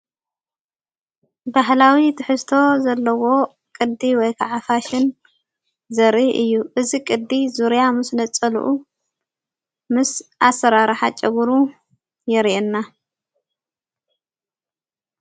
በህላዊ ትሕስቶ ዘለዎ ቅዲ ወይከዓፋሽን ዘሪ እዩ እዝ ቕዲ ዙርያ ምስ ለጸልኡ ምስ ኣሠራርሓ ጨግሩ የርየና።